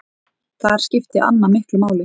Þar skipti Anna miklu máli.